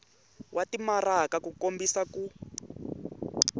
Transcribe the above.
wa timaraka ku kombisa ku